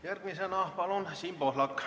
Järgmisena palun Siim Pohlak!